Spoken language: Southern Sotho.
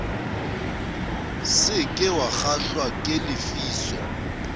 se ke wakgahlwa ke lefiso